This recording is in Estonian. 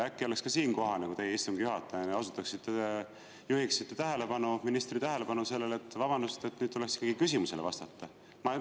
Äkki oleks ka siin kohane, kui teie istungi juhatajana juhiksite ministri tähelepanu sellele, et, vabandust, aga nüüd tuleks ikkagi küsimusele vastata.